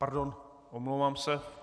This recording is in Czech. Pardon, omlouvám se.